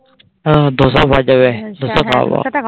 হ্যাঁ ধোসা পাওয়া যাবে ধোসা খাওয়াবো.